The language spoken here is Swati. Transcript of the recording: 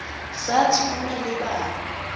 satsi kumele babe